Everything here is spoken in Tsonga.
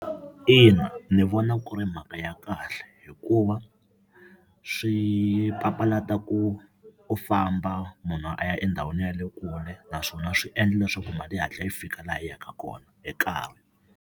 Ina, ndzi vona ku ri mhaka ya kahle hikuva swi papalata ku u famba munhu a ya endhawini ya le kule naswona swi endla leswaku mali yi hatla yi fika laha yi ya ka kona hi nkarhi.